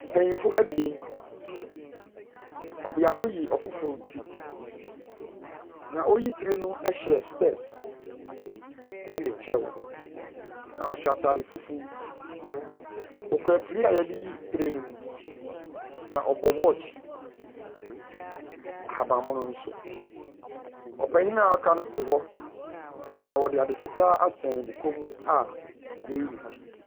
Mpanyinfo ebien, baako yi baakofo eti. Nea ɔreyi tire no ɛhyɛ spɛs ɛne kyɛw na ɔhyɛ ataade fufu. Ɔkura firi a yɛdeyi tire no mu na ɔbɔ watch ahaban mono nso. Ɔpanyin na waka no te hɔ na ɔde ade fitaa asɛn ne kɔn mu a yɛreyi ne ti.